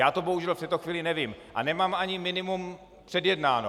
Já to bohužel v této chvíli nevím a nemám ani minimum předjednáno.